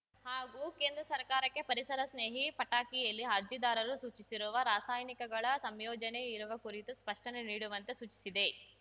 ಹಾಗೂ ಕೇಂದ್ರ ಸರ್ಕಾರಕ್ಕೆ ಪರಿಸರ ಸ್ನೇಹಿ ಪಟಾಕಿಯಲ್ಲಿ ಅರ್ಜಿದಾರರು ಸೂಚಿಸಿರುವ ರಾಸಾಯನಿಕಗಳ ಸಂಯೋಜನೆ ಇರುವ ಕುರಿತು ಸ್ಪಷ್ಟನೆ ನೀಡುವಂತೆ ಸೂಚಿಸಿದೆ